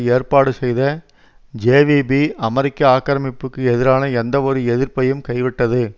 ஏற்பாடு செய்த ஜேவிபி அமெரிக்க ஆக்கிரமிப்புக்கு எதிரான எந்தவொரு எதிர்ப்பையும் கைவிட்டது